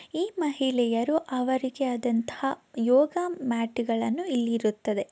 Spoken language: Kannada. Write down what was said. ಈ ಮಹಿಳೆಯರು ಅವರಿಗೆಯದಂತ ಯೋಗ ಮ್ಯಾಟ್‌ಗಳನ್ನು ಇಲ್ಲಿ ಇರುತ್ತದೆ.